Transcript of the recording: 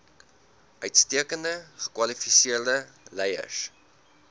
uitstekend gekwalifiseerde leiers